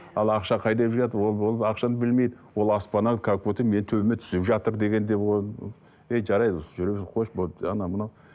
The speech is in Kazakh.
ал ақша қайдан келіп жатыр ол ол ақшаны білмейді ол аспаннан как будто менің төбеме түсіп жатыр дегендей ол ей жарайды қойшы болды анау мынау